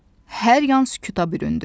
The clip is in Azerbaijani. Hər yan sükuta büründü.